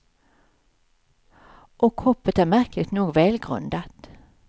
Och hoppet är märkligt nog välgrundat.